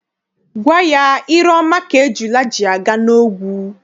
Gwa ya, ire ọma ka ejula ji aga n'ogwu!